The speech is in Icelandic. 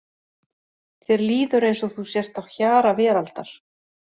Þér líður eins og þú sért á hjara veraldar.